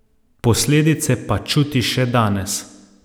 Posledice pa čuti še danes.